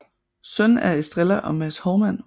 Søn af Estrella og Mads Hovmand